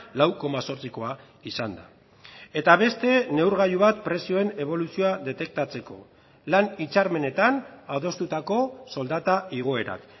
lau koma zortzikoa izan da eta beste neurgailu bat prezioen eboluzioa detektatzeko lan hitzarmenetan adostutako soldata igoerak